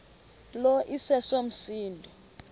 lo iseso msindo